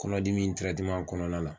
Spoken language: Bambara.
Kɔnɔdimi kɔnɔna la.